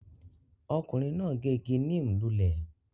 Ọkùnrin náà gé igi neem lulẹ̀